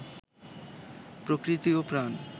প্রকৃতি ও প্রাণ